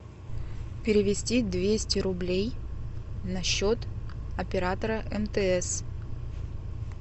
перевести двести рублей на счет оператора мтс